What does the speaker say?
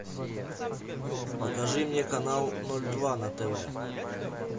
покажи мне канал ноль два на тв